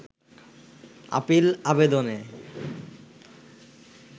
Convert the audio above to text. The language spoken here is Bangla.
আপিল আবেদনে